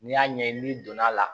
N'i y'a ɲɛɲini n'i donn'a la